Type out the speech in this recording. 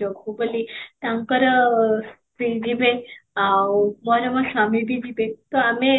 ଜଗୁ ବୋଲି ତାଙ୍କର ସ୍ତ୍ରୀ ଯିବେ ଆଉ ମୋର ମୋ ସ୍ବାମୀ ବି ଯିବେ ତ ଆମେ